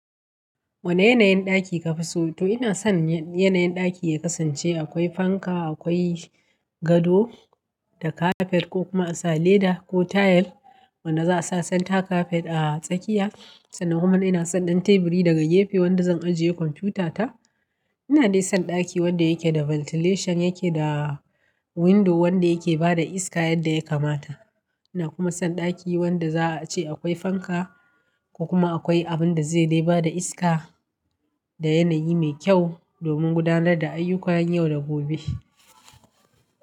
Wane yanayin ɗaki kafi so? To ina son yanayin ɗaki ya kasance akwai fanka, akwai gado da kafet ko kuma a sa leda ko tayal wanda za a sa santa kafet a tsakiya. Sannan kuma ina son ɗan teburi daga gefe wanda zan ajiye kwamfutata. Ina dai son ɗaki wanda yake da ventilation yake da window wanda yake bada iska yadda ya kamata. Ina kuma son ɗaki wanda za a ce akwai fanka ko kuma akwai abin da zai dai bada iska da yanayi mai kyau domin gudanar da ayyukayan yau da gobe.